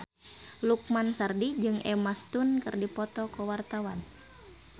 Lukman Sardi jeung Emma Stone keur dipoto ku wartawan